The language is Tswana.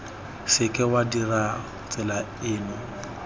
seke wa dirisa tsela eno